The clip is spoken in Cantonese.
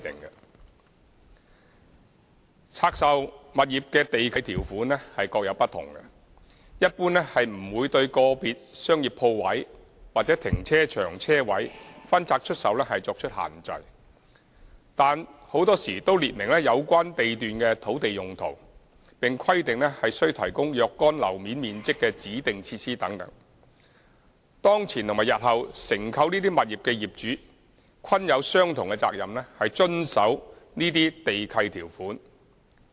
每項拆售物業的地契條款各有不同，一般不會對個別商業鋪位或停車場車位分拆出售作出限制，但很多時都列明有關地段的土地用途，並規定須提供若干樓面面積的指定設施等，當前及日後承購這些物業的業主均有相同責任遵守這些地契條款。